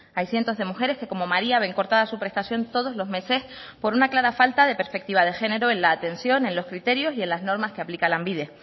hay cientos de mujeres que como maría ven cortada su prestación todos los meses por una clara falta de perspectiva de género en la atención en los criterios y en las normas que aplica lanbide